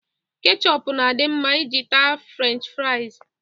Kechọp na-adị mma iji taa Frech fraịz.